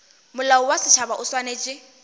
molao wa setšhaba o swanetše